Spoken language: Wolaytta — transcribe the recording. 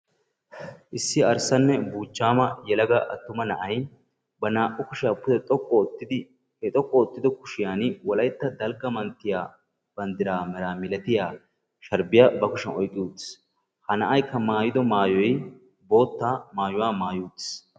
Issi arssanne yelaga buuchchama na'ay ba naa"u kushshiyaa pde xoqqu oottidi he xoqqu oottido kushshiyaan wolaytta dalgga manttiyaa banddiraa meraa milatiyaa sharbbiyaa ba kushiyaan oyqqi uttis. ha na'aykka maayido maayoy bootta maayuwaa maayidi uttiis.